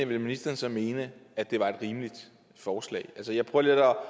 ville ministeren så mene at det var et rimeligt forslag altså jeg prøver